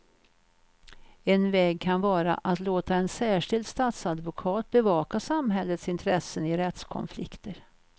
En väg kan vara att låta en särskild statsadvokat bevaka samhällets intressen i rättskonflikter.